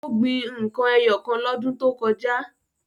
Ó gbin n kan ẹyọ kan lọ́dún tó kọjá.